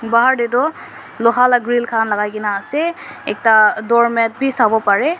bahar tey toh loha la grill khan lagakena ase ekta doormat wi sawo pareh.